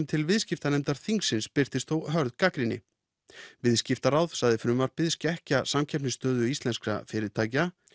til viðskiptanefndar þingsins birtist hörð gagnrýni viðskiptaráð sagði frumvarpið skekkja samkeppnisstöðu íslenskra fyrirtækja